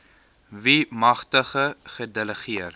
wie magte gedelegeer